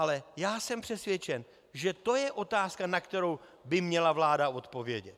Ale já jsem přesvědčen, že to je otázka, na kterou by měla vláda odpovědět.